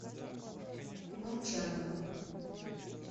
молчанова